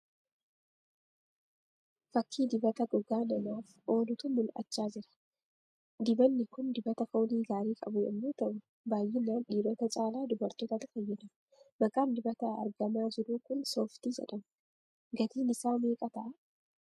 Fakkii dibata gogaa namaaf oolutu mul'achaa jira. Dibanni kun dibata foolii gaarii qabu yemmuu ta'uu baayyinaan dhiiroota caalaa dubartootatu fayyadama. Maqaan dibata argamaa jiru kun 'Sooftii' jedhama. Gatiin isaa meeqa ta'a?